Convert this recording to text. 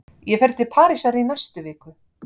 Ég fer til Parísar í næstu viku.